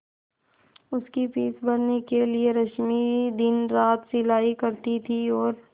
उसकी फीस भरने के लिए रश्मि दिनरात सिलाई करती थी और